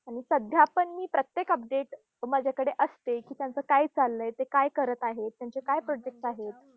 आणि सध्या पण मी प्रत्येक update माझ्याकडे असते. की त्यांचं काय चाललंय, ते काय करत आहेत, त्यांचे काय projects आहेत.